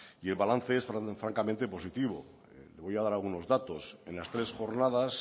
y el balance es francamente positivo le voy a dar algunos datos en las tres jornadas